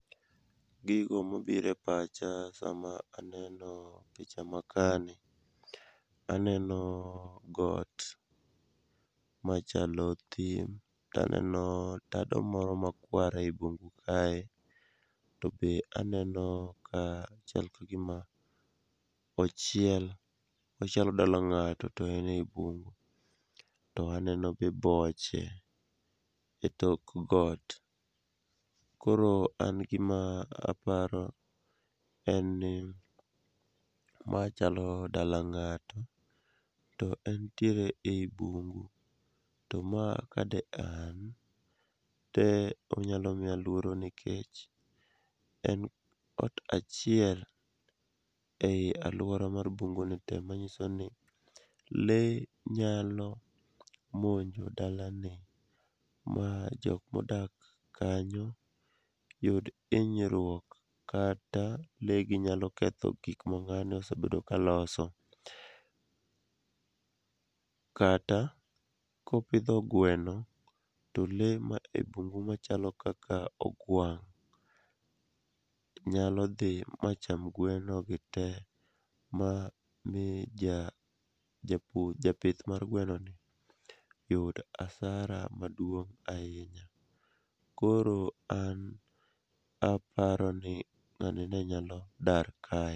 Gigo mobiro e pacha sama aneno picha makani, aneno got machalo thim, taneno tado moro makwar ei bungu kae, to be aneno ka chal ka gima ochiel, ochalo dala ng'ato to en e bungu, taneno be boche e tok got. Koro an gima paro, en ni ma chalo dala ng'ato, to en tiere ei bungu, to ma ka de an, de onyalo miya lworo nikech en ot achiel ei alwora mar bunguni te, manyiso ni lee nyalo monjo dalani, ma jok modak kanyo yud hinyruok kata lee gi nyalo ketho gik ma ng'ani osebedo ka loso, kata kopidho gweno, to lee ma e bungu machalo kaka ogwang' nyalo dhi macham gweno gi te, ma mi japith mar gwenoni yud asara maduong' ahinya. Koro an aparoni ng'ani ne nyalo dar kae.